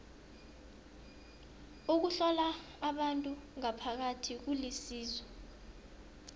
ukuhlola abantu ngaphakathi kulisizo